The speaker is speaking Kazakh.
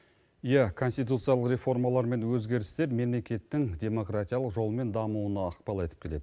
иә конституциялық реформалар мен өзгерістер мемлекеттің демократиялық жолмен дамуына ықпал етіп келеді